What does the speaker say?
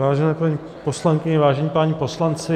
Vážené paní poslankyně, vážení páni poslanci.